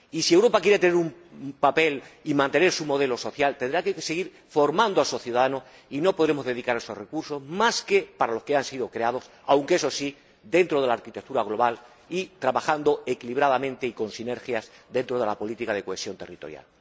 y si Europa quiere tener un papel y mantener su modelo social, tendrá que seguir formando a sus ciudadanos y no podremos dedicar nuestros recursos más que a aquello para lo que han sido creados, aunque, eso sí, dentro de la arquitectura global y trabajando equilibradamente y con sinergias dentro de la política de cohesión territorial.